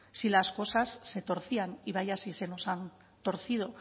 si las cosas se torcían y vaya si se nos han torcido